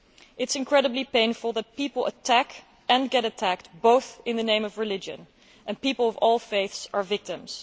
It is incredibly painful that people attack and get attacked, both in the name of religion, and people of all faiths are victims.